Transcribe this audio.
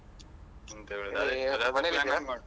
ಎಂತ ಹೇಳುದು.